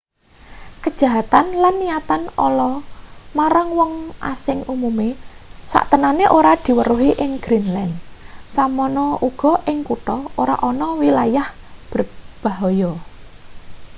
kejahatan lan niatan ala marang wong asing umume saktenane ora diweruhi ing greenland semono uga ing kutha ora ana wilayah bahaya